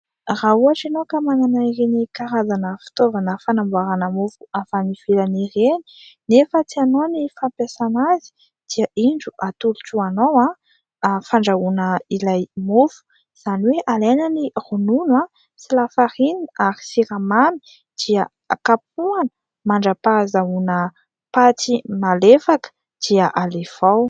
Raha ohatra ianao ka manana ireny karazana fitaovana fanamboarana mofo avy any ivelany ireny nefa tsy hainao ny fampiasana azy, dia indro atolotro anao : fandrahoana ilay mofo. Izany hoe alaina ny ronono sy lafarinina ary siramamy dia kapohana mandrapahazahoana paty malefaka dia alefa ao.